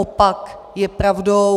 Opak je pravdou.